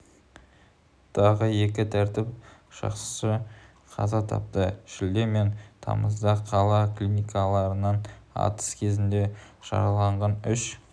тағы екі тәртіп сақшысы қаза тапты шілде мен тамызда қала клиникаларынан атыс кезінде жараланған үш